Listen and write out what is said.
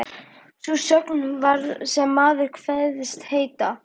Sú sögn, þar sem maður kveðst heita